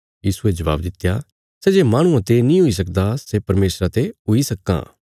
यीशुये जवाब दित्या सै जे माहणुआं ते नीं हुई सकदा सै परमेशरा ते हुई सक्कां